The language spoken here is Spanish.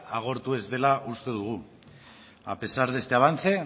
agortu ez dela uste dugu a pesar de este avance